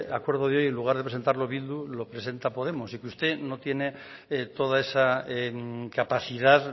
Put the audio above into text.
acuerdo de hoy en lugar de presentarlo bildu lo presenta podemos y que usted no tiene toda esa capacidad